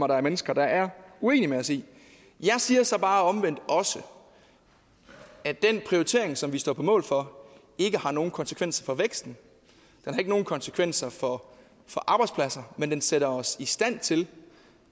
der er mennesker der er uenige med os i jeg siger så bare omvendt også at den prioritering som vi står på mål for ikke har nogen konsekvenser for væksten den har ikke nogen konsekvenser for arbejdspladser men den sætter os i stand til